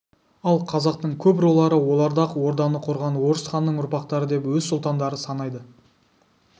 ал қазақтың көп рулары оларды ақ орданы құрған орыс ханның ұрпақтары деп өз сұлтандары санайды